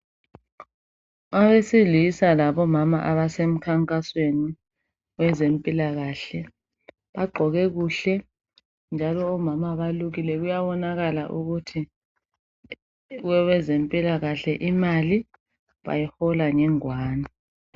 Owesilisa labo mama abase mkhankasweni bezempilakahle, bagqoke kuhle njalo omama balukile kuyabonakala ukuthi kwabezempilakahle imali bayihola ngengwane.